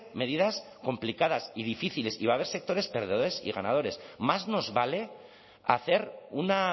medidas complicadas y difíciles y va a haber sectores perdedores y ganadores más nos vale hacer una